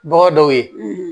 Bɔgɔ dɔw ye